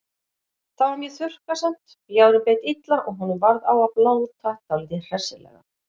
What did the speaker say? Þá var mjög þurrkasamt, ljárinn beit illa og honum varð á að blóta dálítið hressilega.